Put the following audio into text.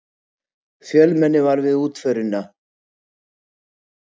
Fjölmenni var við útförina